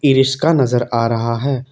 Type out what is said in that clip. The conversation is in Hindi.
ई रिश्का नजर आ रहा है।